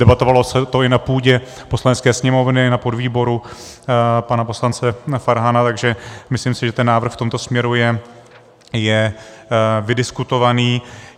Debatovali se to i na půdě Poslanecké sněmovny, na podvýboru pana poslance Farhana, takže myslím si, že ten návrh v tomto směru je vydiskutovaný.